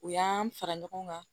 U y'an fara ɲɔgɔn kan